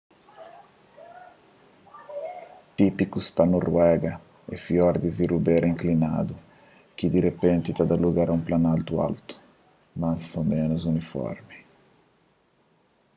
típikus pa noruega é fiordis y rubéras inklinadu ki di repenti ta da lugar a un planaltu altu más ô ménus uniformi